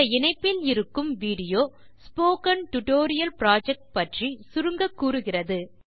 இந்த யுஆர்எல் இல் இருக்கும் விடியோ சுருக்கமாக ஸ்போக்கன் டியூட்டோரியல் புரொஜெக்ட் பற்றிக் கூறுகிறது